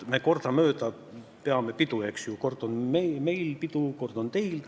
Me kordamööda peame pidu, eks ju: kord on meil pidu, kord on teil.